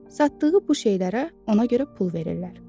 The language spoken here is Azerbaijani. Satdığı bu şeylərə görə ona görə pul verirlər.